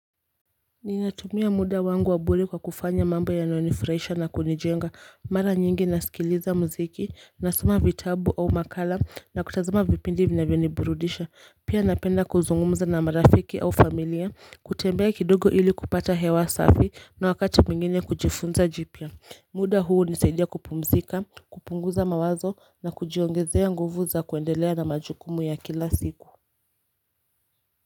Ninatumia muda wangu wabure kwa kufanya mambo yanaonifurahisha na kunijenga mara nyingi nasikiliza mziki nasoma vitabu au makala na kutazama vipindi vinavioniburudisha pia napenda kuzungumza na marafiki au familia kutembea kidogo ili kupata hewa safi na wakati muingine kujifunza jipia muda huu unisaidia kupumzika kupunguza mawazo na kujiongezea nguvu za kuendelea na majukumu ya kila siku.